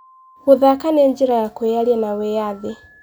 Gũthaka nĩ njĩra ya kwĩyaria na wĩyathi.